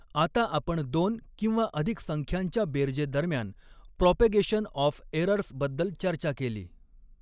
आता आपण दोन किंवा अधिक संख्यांच्या बेरजेदरम्यान प्रोपेगेशन ऑफ एरर्स बद्दल चर्चा केली.